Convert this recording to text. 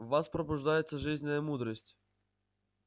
в вас пробуждается жизненная мудрость